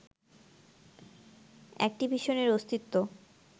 অ্যাকটিভিশনের অস্তিত্ব